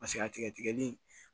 Paseke a tigɛ tigɛli